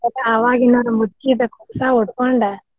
ಆವಾಗಿನಾವ್ರ್ ಮುಚ್ಚಿದ ಕುಪ್ಸಾ ಉಟ್ಕೊಂಡ್.